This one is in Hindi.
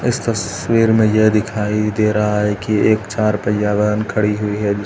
इस तस्वीर मे यह दिखाई दे रहा है कि एक चार पहिया वाहन खड़ी हुई है।